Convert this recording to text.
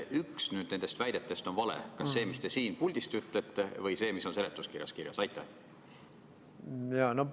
Üks nendest väidetest on vale – kas see, mida te siin puldis olete öelnud, või see, mis on seletuskirjas kirjas?